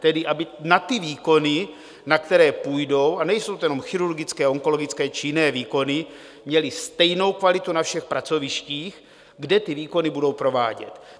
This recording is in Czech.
Tedy aby na ty výkony, na které půjdou - a nejsou to jenom chirurgické, onkologické či jiné výkony - měli stejnou kvalitu na všech pracovištích, kde ty výkony budou provádět.